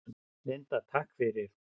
Linda: Takk fyrir.